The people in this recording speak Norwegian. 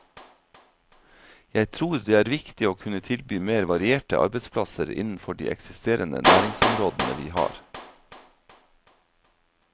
Jeg tror det er viktig å kunne tilby mer varierte arbeidsplasser innenfor de eksisterende næringsområdene vi har.